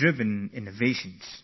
I humbly pay my homage to Sir C